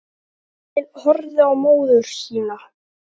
Sveinn horfði á móður sína.